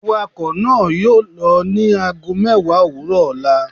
Awakọ naa yoo lọ ni aago mẹwa owurọ ọla